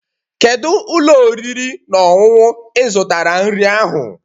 Kedu ụlọ oriri na ọṅụṅụ ị zụtara nri ahụ?